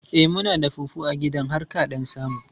E, muna da fufu a gidan har ka ɗan samu.